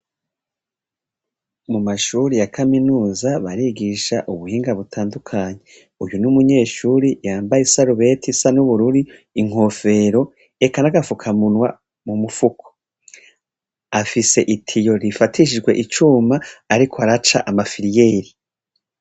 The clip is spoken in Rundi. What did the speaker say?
Mu mashure ya kaminuza barigisha ubuhinga butandukanye. Uyu ni umunyeshure yambaye isaloveti isa n'ubururu, inkofero, eka n'agafukamunwa mu mufuko. Afise itiyo rifatishijwe icuma, ariko araca amafiriyeri.